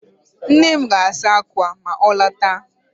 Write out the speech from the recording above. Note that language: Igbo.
Nne m ga-asa akwa ma ọ lọta